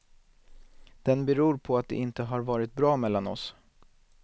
Den beror på att det inte har varit bra mellan oss.